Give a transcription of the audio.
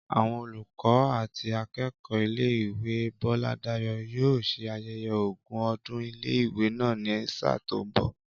Àwọn olùkọ́ àti akẹ́kọ̀ọ́ ilé ìwé Bọ́ládayọ̀ yóò ṣe ayẹyẹ ogún ọdún ilé ìwé náà ni sáà tó ń bọ̀